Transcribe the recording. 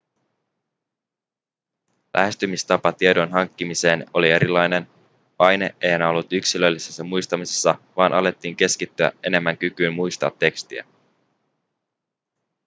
lähestymistapa tiedon hankkimiseen oli erilainen paine ei enää ollut yksilöllisessä muistamisessa vaan alettiin keskittyä enemmän kykyyn muistaa tekstiä